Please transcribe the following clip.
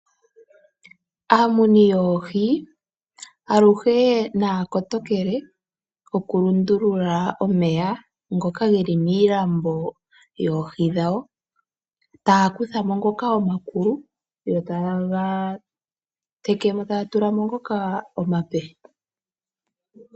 Aamuni yoohi aluhe naya kotokele okulundulula omeya ngoka geli miilambo yoohi dhawo taya kutha mo ngoka omakulu yo taye ga teke mo, taya tula mo ngoka omape.